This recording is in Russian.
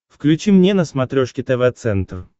включи мне на смотрешке тв центр